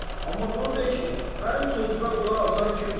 Amma bunu de ki, mənim sözümə qulaq asan kimdir?